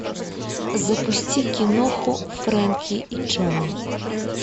запусти киноху фрэнки и джонни